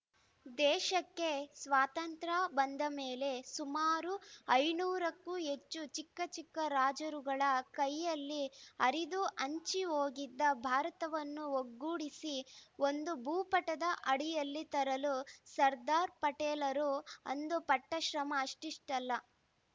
ದೇಶಕ್ಕೆ ಸ್ವಾತಂತ್ರ್ಯ ಬಂದ ಮೇಲೆ ಸುಮಾರು ಐನೂರು ಕ್ಕೂ ಹೆಚ್ಚು ಚಿಕ್ಕ ಚಿಕ್ಕ ರಾಜರುಗಳ ಕೈಯಲ್ಲಿ ಹರಿದು ಹಂಚಿ ಹೋಗಿದ್ದ ಭಾರತವನ್ನು ಒಗ್ಗೂಡಿಸಿ ಒಂದು ಭೂಪಟದ ಅಡಿಯಲ್ಲಿ ತರಲು ಸರ್ದಾರ ಪಟೇಲರು ಅಂದು ಪಟ್ಟಶ್ರಮ ಅಷ್ಟಿಷ್ಟಲ್ಲ